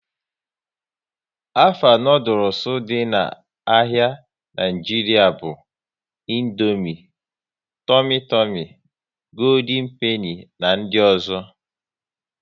Afa noodules dị n'ahia Nigeria bụ Indomie, Tumi Tumi, Gooldin Peni na ndị ọzọ